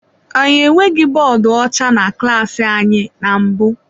Anyị enweghị bọọdụ ọcha na klas anyị na mbụ.